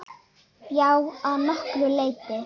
Já, að nokkru leyti.